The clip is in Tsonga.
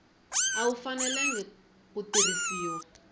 a wu fanelangi ku tirhisiwa